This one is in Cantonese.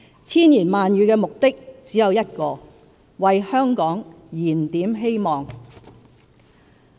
千言萬語的目的只有一個：為香港燃點希望。